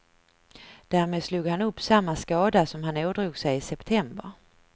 Därmed slog han upp samma skada som han ådrog sig i september.